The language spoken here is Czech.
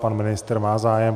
Pan ministr má zájem.